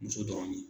Muso dɔrɔn de